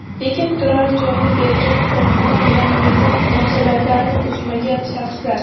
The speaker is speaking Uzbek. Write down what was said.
lekin turar joyni bergan korxona bilan mehnat munosabatlarini uzmagan shaxslar;.